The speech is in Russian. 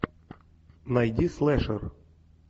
найди слэшер